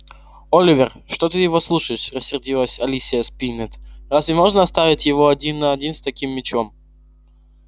оливер что ты его слушаешь рассердилась алисия спиннет разве можно оставить его один на один с таким мячом